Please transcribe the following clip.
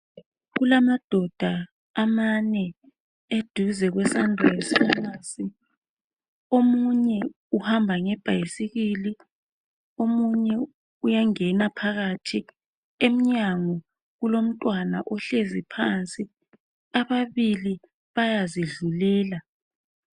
Kulamadoda amanye aduze kwesunrisepharmacy omunye uhamba ngebhayisikili omunye uyangena phakathi emnyango kulomtwana ohlezi phansi ababili bayazidlulela.